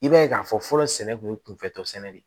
I b'a ye k'a fɔ fɔlɔ sɛnɛ kun ye kunfɛ tɔ sɛnɛ de